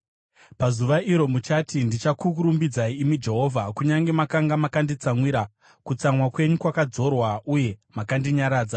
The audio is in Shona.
Pazuva iro muchati, “Ndichakurumbidzai, imi Jehovha, kunyange makanga makanditsamwira, kutsamwa kwenyu kwakadzorwa uye makandinyaradza.